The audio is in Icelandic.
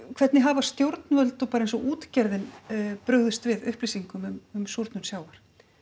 hvernig hafa stjórnvöld og bara eins og útgerðin brugðist við upplýsingum um súrnun sjávar